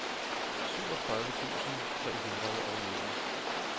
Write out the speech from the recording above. syvogtredive tusind tre hundrede og nitten